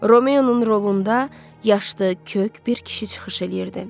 Romeonun rolunda yaşlı, kök bir kişi çıxış eləyirdi.